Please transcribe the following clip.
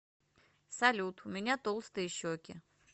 салют у меня толстые щеки